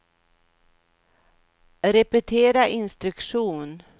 repetera instruktion